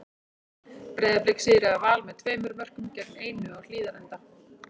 Breiðablik sigraði Val með tveimur mörkum gegn einu á Hlíðarenda.